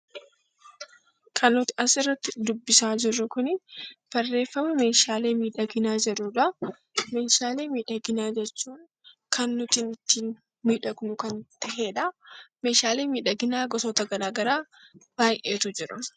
Meeshaalee miidhaginaa jechuun kan nuti ittiin miidhagnu kan ta'edha. Meeshaaleen miidhaginaa gosoota garaagaraa baay'eetu jiru